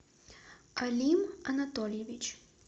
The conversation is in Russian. алим анатольевич